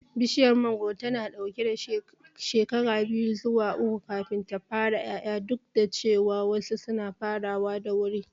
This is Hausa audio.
Bishiyar mangoro tana ɗaukar shekara biyu zuwa uku kafin ta fara ƴaƴa, duk da cewa wasu suna farawa da wuri.